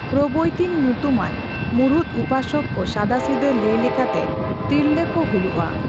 ᱯᱨᱚᱵᱚᱭᱛᱤᱱ ᱧᱩᱛᱩᱢᱟᱱ ᱢᱩᱲᱩᱫ ᱩᱯᱟᱥᱚᱠ ᱠᱚ ᱥᱟᱫᱟᱥᱤᱫᱟᱹ ᱞᱟᱹᱭ ᱞᱮᱠᱟᱛᱮ ᱛᱤᱨᱞᱟᱹ ᱠᱚ ᱦᱚᱭᱩᱜᱼᱟ ᱾